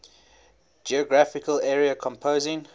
geographical area composing